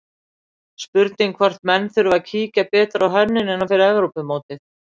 Spurning hvort menn þurfi að kíkja betur á hönnunina fyrir Evrópumótið?